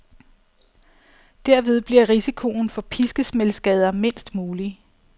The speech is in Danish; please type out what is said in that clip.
Derved bliver risikoen for piskesmældsskader mindst mulig.